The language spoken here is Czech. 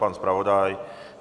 Pan zpravodaj?